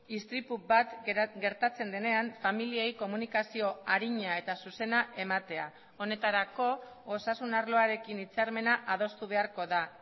istripu bat gertatzen denean familiei komunikazio arina eta zuzena ematea honetarako osasun arloarekin hitzarmena adostu beharko da